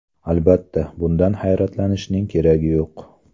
Albatta, bundan hayratlanishning keragi yo‘q.